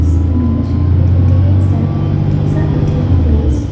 this image it indicates that it is a A_T_M place.